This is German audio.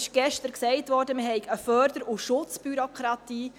Gestern wurde gesagt, es bestünde eine Förder- und Schutzbürokratie.